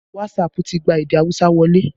Wasaapu ti gba èdè àwúsá wọlé